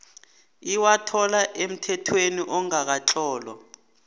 iwathola emthethweni ongakatlolwa